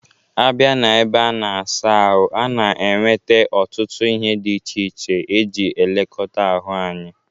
A bia na ebe a na-asa ahụ, a na-enwete ọtụtụ ihe dị iche iche e ji elekọta ahụ anya.